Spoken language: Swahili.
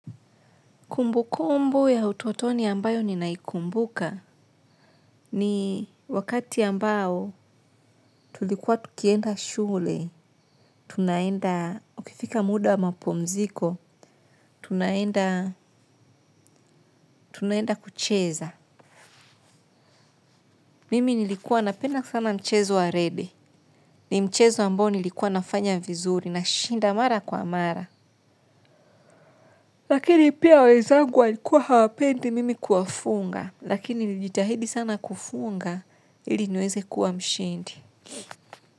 Kumbu kumbu ya utuotoni ambayo ninaikumbuka ni wakati ambayo tulikuwa tukienda shule, tunaenda, ukifika muda mapumziko, tunaenda, tunaenda kucheza. Mimi nilikuwa napenda sana mchezo wa rede, ni mchezo ambayo nilikuwa nafanya vizuri na shinda mara kwa mara. Lakini pia wezangu walikuwa hawapendi mimi kuafunga, lakini nijitahidi sana kufunga ili nweze kuwa mshindi.